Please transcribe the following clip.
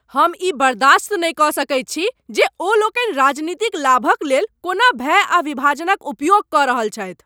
हम ई बर्दाश्त नहि कऽ सकैत छी जे ओ लोकनि राजनीतिक लाभक लेल कोना भय आ विभाजनक उपयोग कऽ रहल छथि।